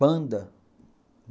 Panda.